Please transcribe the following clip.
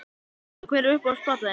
Já Já Hver er uppáhalds platan þín?